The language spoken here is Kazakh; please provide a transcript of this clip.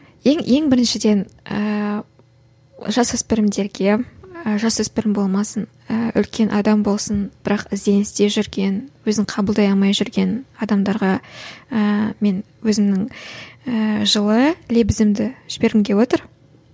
ең ең біріншіден ііі жасөспірімдерге жасөспірім болмасын ііі үлкен адам болсын бірақ ізденісте жүрген өзін қабылдай алмай жүрген адамдарға ііі мен өзімнің ііі жылы лебізімді жібергім келіп отыр